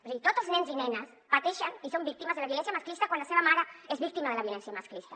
és a dir tots els nens i nenes pateixen i són víctimes de la violència masclista quan la seva mare és víctima de la violència masclista